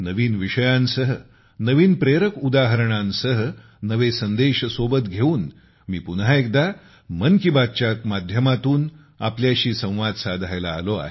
नवीन विषयांसह नवीन प्रेरक उदाहरणांसह नवे संदेश सोबत घेऊन मी पुन्हा एकदा मन की बात कार्यक्रमाच्या माध्यमातून तुमच्यासोबत संवाद साधायला आलो